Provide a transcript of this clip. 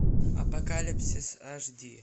апокалипсис аш ди